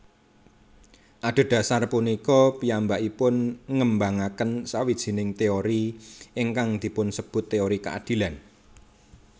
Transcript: Adhedhasar punika piyambakipun ngembangaken sawijining teori ingkang dipunsebut teori keadilan